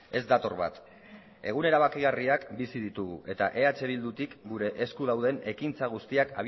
ez dator bat egun erabakigarriak bizi ditugu eta eh bildutik gure esku dauden ekintza guztiak